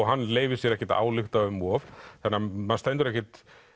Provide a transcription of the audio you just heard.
hann leyfir sér ekkert að álykta um of þannig að maður stendur ekkert